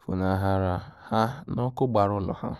funahara ha na ọkụ gbara ulọ ha.